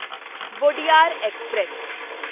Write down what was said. Wodeyar express